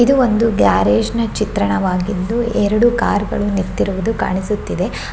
ಇದು ಒಂದು ಗ್ಯಾರೇಜಿನ ಚಿತ್ರಣವಾಗಿದ್ದು ಎರಡು ಕಾರ್ ಗಳು ನಿತ್ತಿರುವುದು ಕಾಣಿಸುತ್ತಿದೆ --